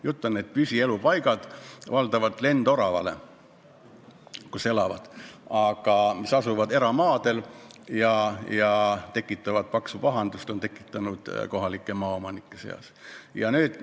Jutt on sellest, et seal on valdavalt lendoravate püsielupaigad, mis asuvad eramaadel ja on tekitanud kohalike maaomanike seas paksu pahandust.